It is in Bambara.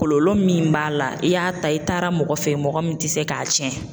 Kɔlɔlɔ min b'a la i y'a ta i taara mɔgɔ fɛ mɔgɔ min tɛ se k'a cɛn.